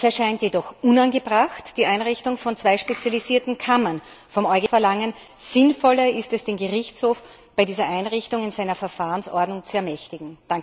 Es erscheint jedoch unangebracht, vom EuGH die Einrichtung von zwei spezialisierten Kammern zu verlangen. Sinnvoller ist es, den Gerichtshof bei dieser Einrichtung in seiner Verfahrensordnung zu ermächtigen.